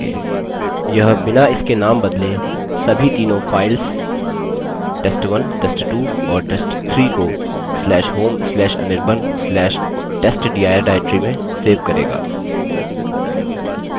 यह बिना इनके named बदले सभी तीनों files test1 test2 और test3 को/home/anirban/testdir directory में सेव करेगा